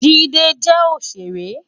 Jide jè óṣéré